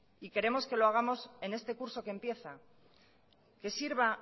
y queremos que lo hagamos en este curso que empieza que sirva